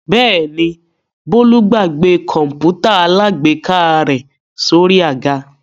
Bẹ́ẹ̀ ni, Bólú gbàgbé kọ̀ǹpútà alágbèéká rẹ̀ sórí àga.